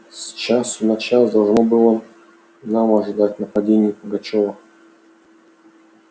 с часу на час должно было и нам ожидать нападения пугачёва